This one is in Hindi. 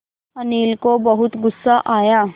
अनिल को बहुत गु़स्सा आया